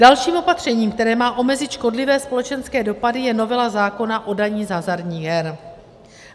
Dalším opatřením, které má omezit škodlivé společenské dopady, je novela zákona o dani z hazardních her.